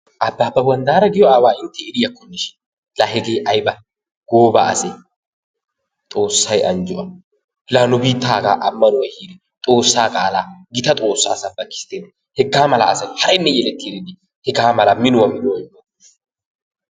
Abbaabba wanddaara giyoo aawaa la hegee ayba goobba asee! xoossay anjjo a. La nu biittaa hagaa ammanuwaa eehidi xoossaa qaalaa gita xoossaa sabakisttenee! Hegaa mala asaa ha"inne yeletti erennee. Hegaa mala minnuwaa